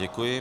Děkuji.